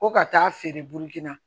Ko ka taa feere burukina